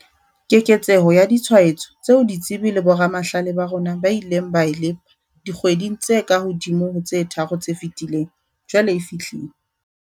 Keketseho ya ditshwaetso tseo ditsebi le boramahlale ba rona ba ileng ba e lepa dikgweding tse kahodimo ho tse tharo tse fetileng, jwale e fihlile.